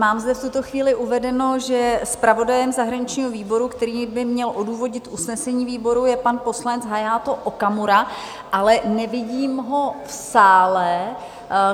Mám zde v tuto chvíli uvedeno, že zpravodajem zahraničního výboru, který by měl odůvodnit usnesení výboru, je pan poslanec Hayato Okamura, ale nevidím ho v sále.